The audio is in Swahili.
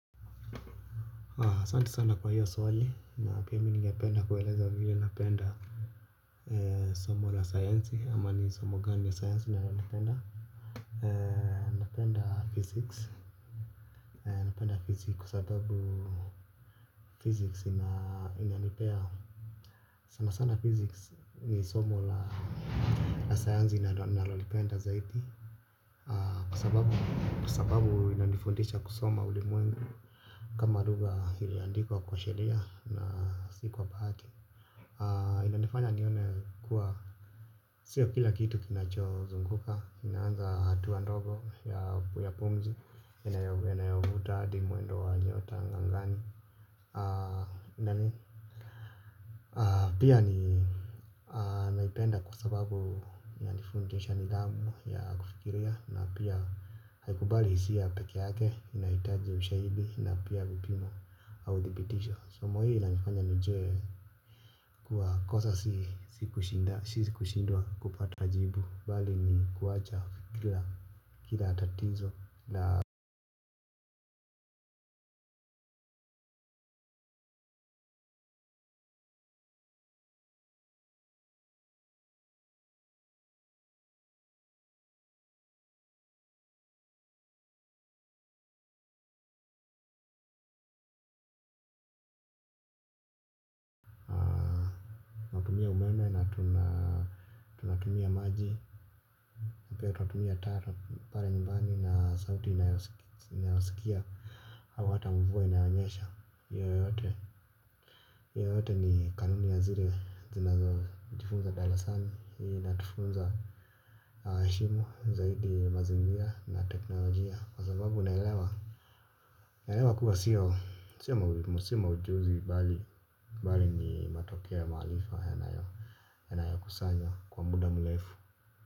Asanti sana kwa hiyo swali na pia mi ningependa kueleza vile napenda. Somo la sayansi ama ni somo gani ya sayansi nalolipenda. Napenda physics. Napenda physics kwa sababu physics inanipea sana sana physics ni somo la sayansi ninalolipenda zaidi, kwa sababu kwa sababu imenifundisha kusoma ulimwengu. Kama lugha iliyo andikwa kwa sheria na si kwa bahati inanifanya nione kuwa sio kila kitu kinacho zunguka. Ina anza hatua ndogo ya pumzi, inayovuta, hadi mwendo wa nyota agani. Pia ninaipenda kwa sababu inanifundisha nidhamu ya kufikiria na pia haikubali hisia pekee yake. Inahitaji ushahidi na pia vipimo au dhibitisho. Somo hili linanifanya nijue kuwa kosa si si kushindwa kupata jibu, bali ni kuwacha kila, kila tatatizo na tunatumia maji na pia tuna tumia taa pale nyumbani na sauti inayosikia au hata mvua inayonyesha. Hayo yote ni kanuni ya zile zinazo jifunza darasani hii inatufunza shimu zaidi mazingira na teknolojia kwa sababu naelewa naelewa kuwa sio sio maujuzi bali ni matokea ya maarifa yanayo kusanywa kwa muda mrefu.